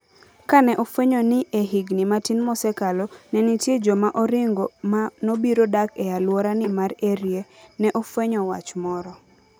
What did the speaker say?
Kane ofwenyo ni e higini matin mosekalo, ne nitie joma oringo ma nobiro dak e alworani mar Erie, ne ofwenyo wach moro.